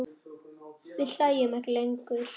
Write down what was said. Við hlæjum ekki lengur.